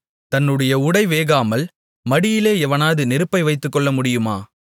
தன்னுடைய உடை வேகாமல் மடியிலே எவனாவது நெருப்பை வைத்துக்கொள்ளமுடியுமா